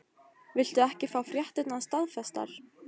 Viltu ekki fá fréttirnar staðfestar?